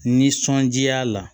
Nisɔndiya la